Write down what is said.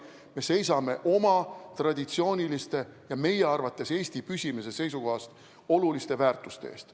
Me seisame oma traditsiooniliste ja meie arvates Eesti püsimise seisukohast oluliste väärtuste eest.